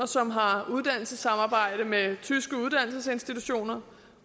som har uddannelsessamarbejde med tyske uddannelsesinstitutioner